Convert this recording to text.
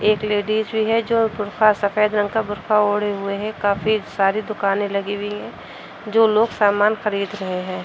एक लेडिज़ भी है जो बुर्का सफेद रंग का बुर्का ओढ़े हुए हे । काफी सारी दुकानें लगी वी हैं जो लोग सामान खरीद रहे हैं।